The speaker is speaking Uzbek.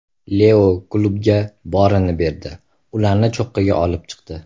Leo klubga borini berdi, ularni cho‘qqiga olib chiqdi.